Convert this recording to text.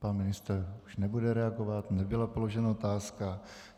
Pan ministr už nebude reagovat, nebyla položena otázka.